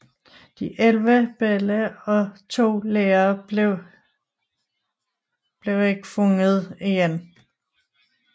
De 11 børn og 2 lærere blev ikke fundet igen